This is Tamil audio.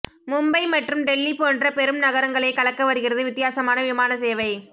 மும்பை மற்றும் டெல்லி போன்ற பெரும் நகரங்களை கலக்க வருகிறது வித்தியாசமான விமான சேவை